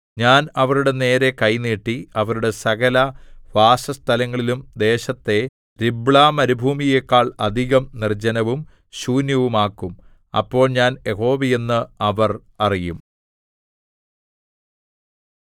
ഞാൻ അവരുടെ നേരെ കൈ നീട്ടി അവരുടെ സകലവാസസ്ഥലങ്ങളിലും ദേശത്തെ രിബ്ളാമരുഭൂമിയെക്കാൾ അധികം നിർജ്ജനവും ശൂന്യവുമാക്കും അപ്പോൾ ഞാൻ യഹോവയെന്ന് അവർ അറിയും